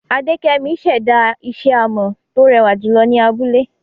Adekemi ṣẹ̀dá isẹ́ amọ̀ tó rẹwà jùlọ ni abúlé.